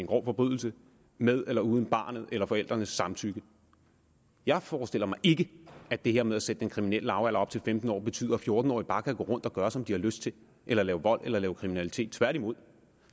grov forbrydelse med eller uden barnets eller forældrenes samtykke jeg forestiller mig ikke at det her med at sætte den kriminelle lavalder op til femten år betyder at fjorten årige bare kan gå rundt og gøre som de har lyst til eller lave vold eller kriminalitet tværtimod